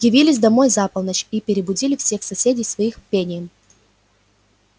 явились домой за полночь и перебудили всех соседей своих пением